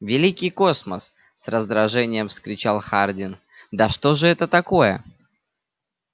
великий космос с раздражением вскричал хардин да что же это такое